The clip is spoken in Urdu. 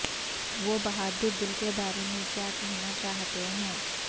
وہ بہادر دل کے بارے میں کیا کہنا چاہتے ہیں